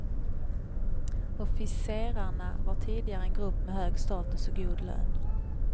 Officerarna var tidigare en grupp med hög status och god lön.